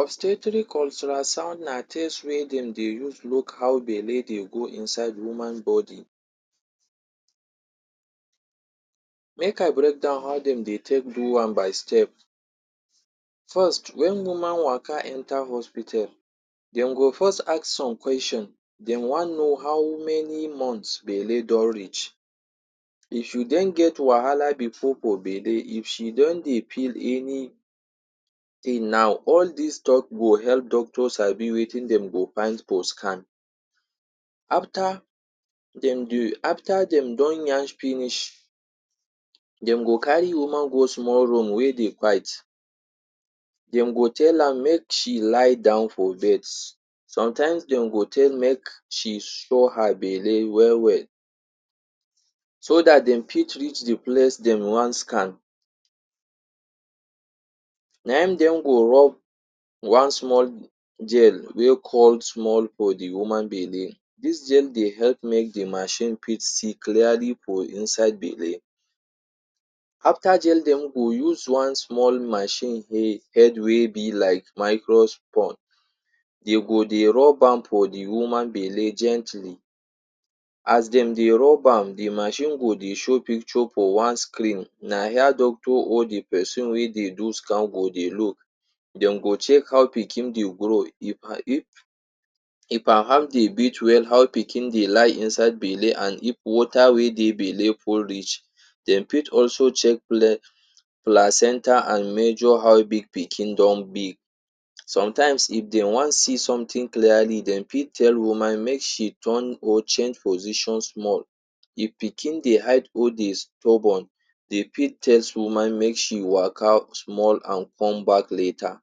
Obstetrics ultrasound na test wey dem dey use look how belle dey go inside woman body. Make I break down how dem dey take do am by step. First, wen woman waka enter hospital dem go first ask some question, dem wan know how many months belle don reach. If you don get wahala before for belle, if she don dey feel anything na all dis talk dey help doctors sabi wetin dem go find for scan. After dem dey after dem don yarn finish, dem go carry woman go small room wey dey quiet. Dem go tell am make she lie down for bed, sometimes dem go tell make she show her belle well well so dat dem fit reach de place dem wan scan. Na im dem go rub one small gel wey small for de woman belle. Dis gel dey help make de machine fit see clearly for inside belle. After gel, dem go use one small machine head wey be like microscope. E go dey rub am for de woman belle gently. As dem dey rub am, de machine go dey show picture for one screen. Na here doctor or de person wey dey do scan go dey look. Dem go check how pikin dey grow. If if if am heart dey beat well, how pikin dey inside belle and if water wey dey belle full reach. Dem fit also check placenta and measure how big pikin don big. Sometimes if dem wan see something clearly dem fit tell woman make she turn or change position small. If pikin dey hide or dey stubborn, dey fit test woman make she waka small and come back later.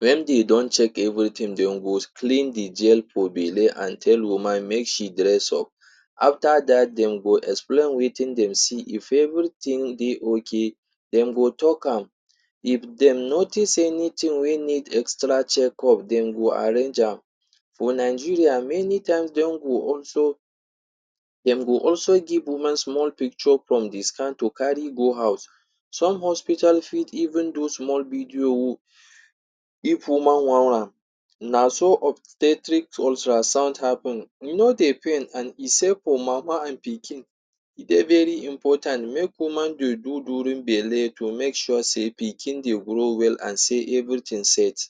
Wen dem don check everything, dem go clean de gel for belle and tell woman make she dress up. After dat, dem go explain wetin dem see. If everything dey okay, dem go talk am. If dem notice anything wey need extra checkup dem go arrange am. For Nigeria many times dem go also dem go also give woman small picture from de scan to carry go house. Some hospital fit even do small video if woman want am. Na so obstetrics ultrasound happen. E no dey pain and e safe for mama and pikin. E dey very important make woman dey do during belle to make sure sey pikin dey grow well and say everything set.